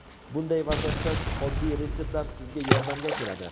Bunday vaziyatda oddiy retseptlar sizga yordamga keladi.